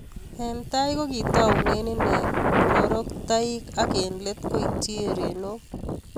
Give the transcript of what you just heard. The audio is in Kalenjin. Eng tai kokitaunee inee pororoktaik ak eng let koityii erenok